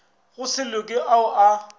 go se loke ao a